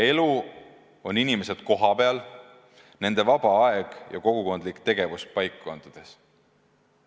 Elu on inimesed kohapeal, nende vaba aeg ja kogukondlik tegevus paikkondades.